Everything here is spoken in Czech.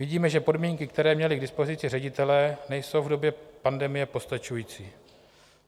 Vidíme, že podmínky, které měli k dispozici ředitelé, nejsou v době pandemie postačující.